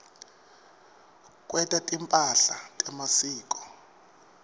kwenta timphahla temasiko